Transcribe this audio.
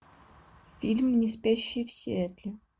фильм неспящие в сиэтле